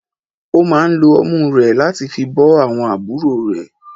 Ó máà ń lo ọmú rẹ̀ láti fi bọ́ àwọn àbúrò rẹ̀.